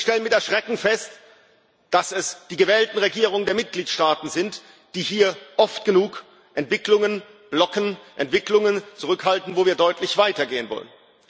Wir stellen mit Erschrecken fest, dass es die gewählten Regierungen der Mitgliedsstaaten sind, die hier oft genug Entwicklungen blocken, Entwicklungen zurückhalten, wo wir deutlich weiter gehen wollen.